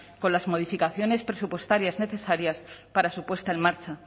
con las modificaciones presupuestarias necesarias para su puesta en marcha